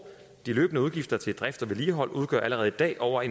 de løbende udgifter til drift og vedligehold udgør allerede i dag over